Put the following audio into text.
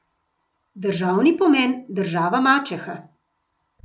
Državni pomen, država mačeha.